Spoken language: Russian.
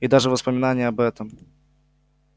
и даже воспоминание об этом